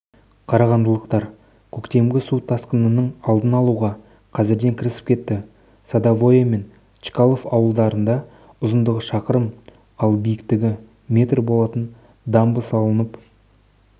қарағандылықтар көктемгі су тасқынының алдын алуға қазірден кірісіп кетті садовое мен чкалов ауылдарында ұзындығы шақырым ал биіктігі метр болатын дамба салынып